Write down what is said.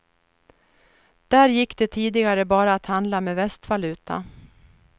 Där gick det tidigare bara att handla med västvaluta.